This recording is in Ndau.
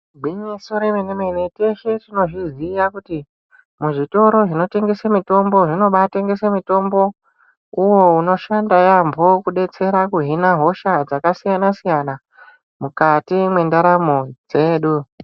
Gwinyiso remene-mene teshe tinozviziya kuti muzvitoro zvinotengese mitombo zvinobatengese mitombo uvo unoshanda yaamho, kubetsera kuhina hosha dzakasiyana-siyana, mukati mwendaramo dzedu.